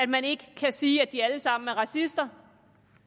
man ikke kan sige at de alle sammen er racister